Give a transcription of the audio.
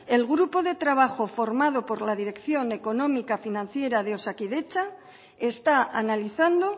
el grupo de trabajo formado por la dirección económica financiera de osakidetza está analizando